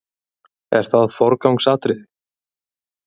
Er það forgangsatriði?